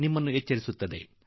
ಇದನ್ನು ನೀವು ಗಮನಿಸಿರಬಹುದು